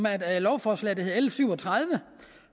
af et lovforslag der hedder l syv og tredive